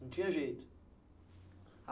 Não tinha jeito.